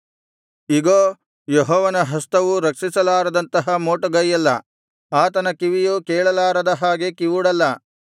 ಇಗೋ ಯೆಹೋವನ ಹಸ್ತವು ರಕ್ಷಿಸಲಾರದಂತಹ ಮೋಟುಗೈಯಲ್ಲ ಆತನ ಕಿವಿಯು ಕೇಳಲಾರದ ಹಾಗೆ ಕಿವುಡಲ್ಲ